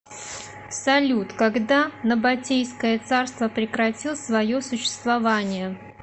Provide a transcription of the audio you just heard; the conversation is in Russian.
салют когда набатейское царство прекратил свое существование